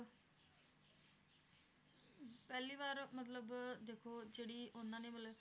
ਪਹਿਲੀ ਵਾਰ ਮਤਲਬ ਦੇਖੋ ਜਿਹੜੀ ਉਹਨਾਂ ਨੇ ਮਤਲਬ